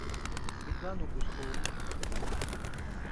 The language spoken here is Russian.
светлану гуськову